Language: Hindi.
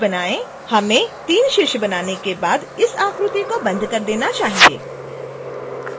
हमें 3 शीर्ष बनाने के बाद इस आकृति को बंद कर देना चाहिए